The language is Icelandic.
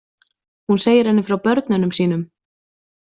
Hún segir henni frá börnunum sínum.